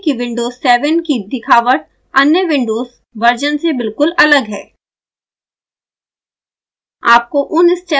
कृपया ध्यान दें कि विंडोज़ 7 की दिखावट अन्य विंडोज़ वर्शन बिल्कुल से अलग है